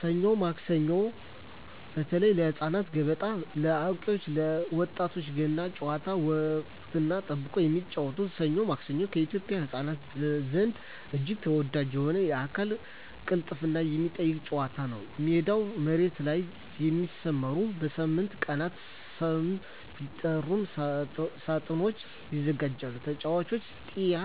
ሰኞ ማክሰኞ (በተለይ ለህፃናት)፣ገበጣ (ለአዋቂዎች እና ለወጣቶች)፣ ገና ጨዋታ (ወቅትን ጠብቆ የሚጫወቱት) "ሰኞ ማክሰኞ" በኢትዮጵያ ህፃናት ዘንድ እጅግ ተወዳጅ የሆነና የአካል ቅልጥፍናን የሚጠይቅ ጨዋታ ነው። ሜዳው መሬት ላይ በሚሰመሩና በሳምንቱ ቀናት ስም በሚጠሩ ሳጥኖች ይዘጋጃል። ተጫዋቹ "ጢያ"